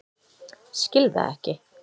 Skil það ekki.